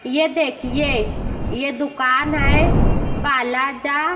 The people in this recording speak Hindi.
ये देखिए ये दुकान है बालाजा--